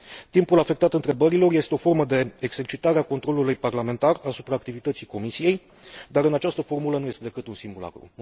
Timpul afectat întrebărilor este o formă de exercitare a controlului parlamentar asupra activității Comisiei, dar în această formulă nu este decât un simulacru.